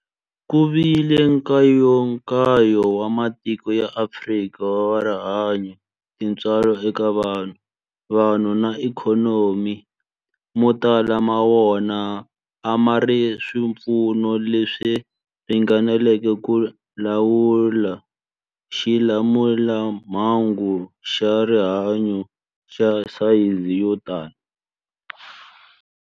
Ku vile nkayakayo wa matiko ya Afrika wa rihanyu, tintswalo eka vanhu, vanhu na ikhonomi, mo tala ma wona a ma na swipfuno leswi ringaneleke ku lawula xilamulelamhangu xa rihanyu xa sayizi yo tani.